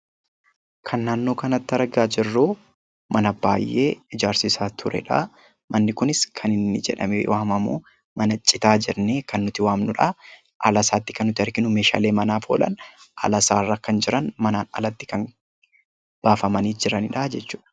Kan naannoo kanatti argaa jirru mana baay'ee ijaarsisaa turedha. Manni kunis kan inni jedhamee waamamu citaa jennee kan nuti waamnudha. ala isaatti kan arginu meeshaalee manaaf oolan alasaarra kan jiran manaan alatti kan baafamii jiranidha jechuudha.